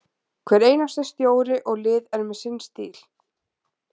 Hver einasti stjóri og lið er með sinn stíl.